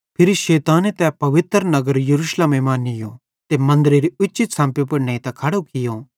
फिरी शैताने तै पवित्र नगर यरूशलेमे मां नीयो ते मन्दरेरी उच्ची छ़म्पी पुड़ नेइतां खड़ो कियो